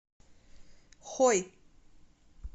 хой